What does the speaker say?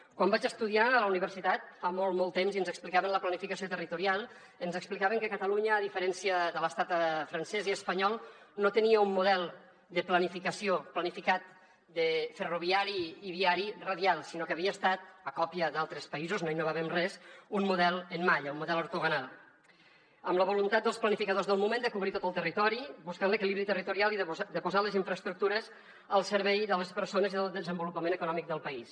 quan vaig estudiar a la universitat fa molt molt temps i ens explicaven la planificació territorial ens explicaven que catalunya a diferència de l’estat francès i espanyol no tenia un model de planificació planificat ferroviari i viari radial sinó que havia estat a còpia d’altres països no innovàvem res un model en malla un model ortogonal amb la voluntat dels planificadors del moment de cobrir tot el territori buscant l’equilibri territorial i de posar les infraestructures al servei de les persones i del desenvolupament econòmic del país